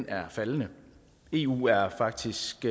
er faldende eu er faktisk